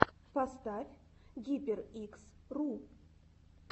поставь гиперикс ру